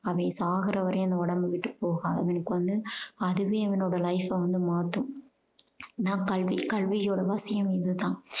அவன் சாகுற வரையும் அந்த உடம்ப விட்டு போகாது. அவனுக்கு வந்து அதுவே அவனோட life அ வந்து மாத்தும். இது தான் கல்வி. கல்வியோட அவசியம் இது தான்.